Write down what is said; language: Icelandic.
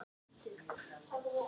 Hann var frábær afi.